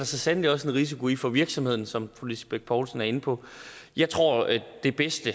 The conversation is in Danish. så sandelig også en risiko i for virksomheden som fru lisbeth bech poulsen er inde på jeg tror at det bedste